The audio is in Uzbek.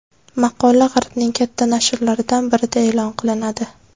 Maqola g‘arbning katta nashrlaridan birida e’lon qilinadi.